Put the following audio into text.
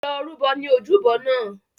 Lọ rúbọ ní ojúbọ náà!